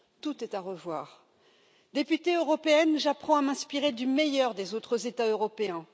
Tout est à revoir. En tant que députée européenne, j'apprends à m'inspirer du meilleur des autres États européens.